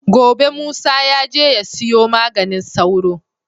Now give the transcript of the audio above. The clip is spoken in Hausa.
Gobe musa yaje ya siyo maganin sauro